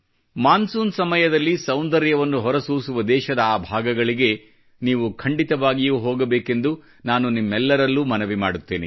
monsoon ಸಮಯದಲ್ಲಿ ಸೌಂದರ್ಯವನ್ನು ಹೊರಸೂಸುವ ದೇಶದ ಆ ಭಾಗಗಳಿಗೆ ನೀವು ಖಂಡಿತವಾಗಿಯೂ ಹೋಗಬೇಕೆಂದು ನಾನು ನಿಮ್ಮೆಲ್ಲರಲ್ಲೂ ಮನವಿ ಮಾಡುತ್ತೇನೆ